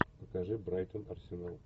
покажи брайтон арсенал